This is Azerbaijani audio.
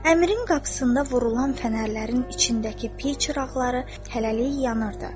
Əmirin qapısında vurulan fənərlərin içindəki piy çıraqları hələlik yanırdı.